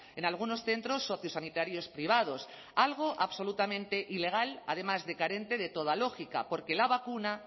en algunos centros sociosanitarios privados algo absolutamente ilegal además de carente de toda lógica porque la vacuna